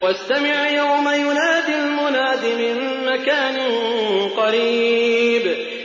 وَاسْتَمِعْ يَوْمَ يُنَادِ الْمُنَادِ مِن مَّكَانٍ قَرِيبٍ